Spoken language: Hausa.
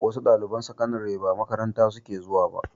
Wasu ɗaliban sakandare ba makaranta suke zuwa ba